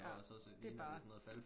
Ja det bare